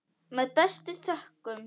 Með bestu þökkum.